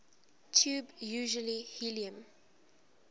tube usually helium